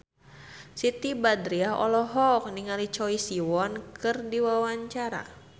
Siti Badriah olohok ningali Choi Siwon keur diwawancara